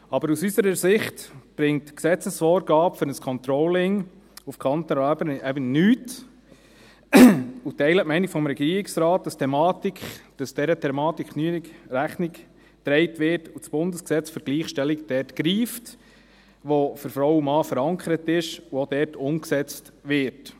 Aber aus unserer Sicht bringt die Gesetzesvorgabe für ein Controlling auf kantonaler Ebene nichts, und wir teilen die Meinung des Regierungsrates, dass dieser Thematik genügend Rechnung getragen wird und das GlG dort greift, wo es für Frau und Mann verankert ist, und auch umgesetzt wird.